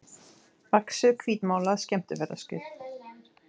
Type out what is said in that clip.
vaxið hvítmálað skemmtiferðaskip.